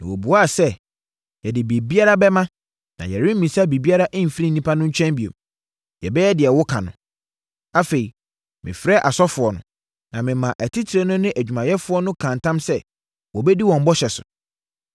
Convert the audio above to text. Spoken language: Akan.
Na wɔbuaa sɛ, “Yɛde biribiara bɛma na yɛremmisa biribiara mfiri nnipa no nkyɛn bio. Yɛbɛyɛ deɛ woka no.” Afei, mefrɛɛ asɔfoɔ no, na memaa atitire no ne adwumayɛfoɔ no kaa ntam sɛ, wɔbɛdi wɔn bɔhyɛ so.